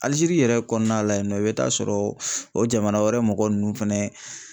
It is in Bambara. Aligérie yɛrɛ kɔɔna la yen nɔ i bɛ taa sɔrɔ o jamana wɛrɛ mɔgɔ nunnu fɛnɛ